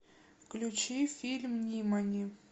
включи фильм нимани